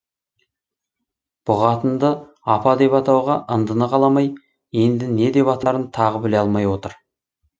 бұ қатынды апа деп атауға ындыны қаламай енді не деп атарын тағы біле алмай отыр